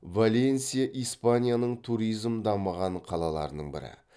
валенсия испанияның туризм дамығын қалаларының бірі